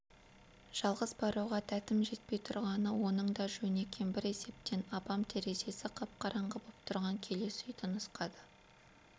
жалғыз баруға дәтім жетпей тұрғаны оның да жөн екен бір есептен апам терезесі қап-қараңғы боп тұрған келесі үйді нұсқады